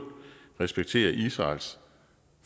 respekterer israels